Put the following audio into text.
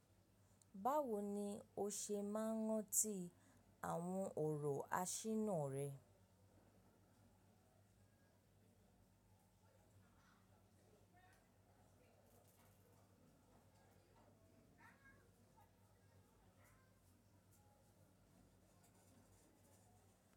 Báwo ni o ṣe máa ń rántí àwọn ọ̀rọ̀ aṣínà rẹ?